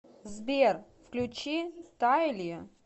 сбер включи тайли